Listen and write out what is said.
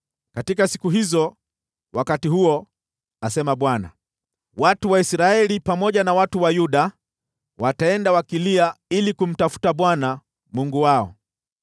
“Katika siku hizo, wakati huo,” asema Bwana , “watu wa Israeli pamoja na watu wa Yuda wataenda wakilia ili kumtafuta Bwana Mungu wao.